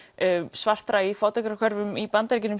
svartra í fátækrahverfum í Bandaríkjunum